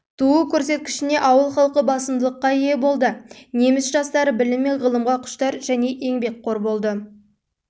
туу көрсеткішіне ауыл халқы басымдыққа ие болды неміс жастары білім мен ғылымға құштар және еңбекқор болды